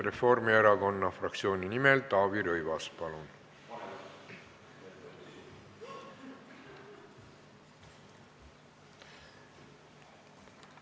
Reformierakonna fraktsiooni nimel Taavi Rõivas, palun!